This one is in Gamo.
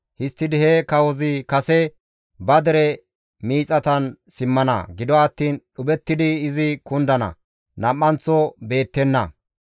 Histtidi he kawozi kase ba dere miixatan simmana; gido attiin dhuphettidi izi kundana; nam7anththo beettenna.